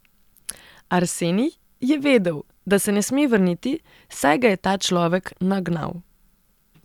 Arsenij je vedel, da se ne sme vrniti, saj ga je ta človek nagnal.